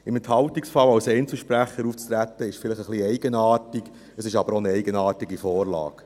Im Enthaltungsfall als Einzelsprecher aufzutreten, ist vielleicht etwas eigenartig, es ist aber auch eine eigenartige Vorlage.